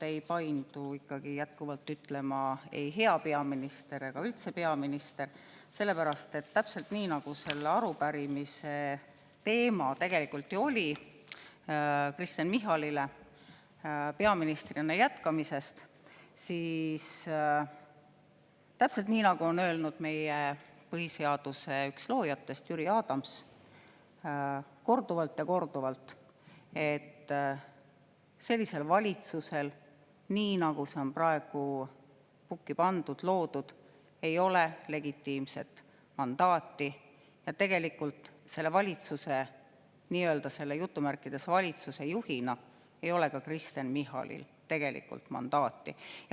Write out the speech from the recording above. Mu keel ikkagi jätkuvalt ei paindu ütlema ei "hea peaminister" ega üldse "peaminister", sellepärast et selle Kristen Michalile arupärimise teema oli peaministrina jätkamine ning täpselt nii, nagu on meie põhiseaduse üks loojatest Jüri Adams korduvalt ja korduvalt öelnud, sellisel valitsusel, nii nagu see on praegu pukki pandud, loodud, ei ole legitiimset mandaati ja tegelikult selle "valitsuse" juhina ei ole ka Kristen Michalil mandaati.